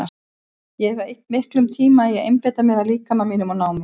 Ég hef eytt miklum tíma í að einbeita mér að líkama mínum og ná mér.